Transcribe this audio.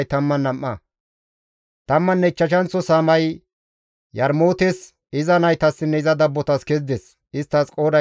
Tammanne ichchashanththo saamay Yarmootes, iza naytassinne iza dabbotas kezides; isttas qooday 12.